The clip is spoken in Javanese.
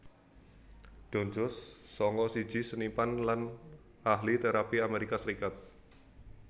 Don Jones sanga siji seniman lan ahli térapi Amerika Serikat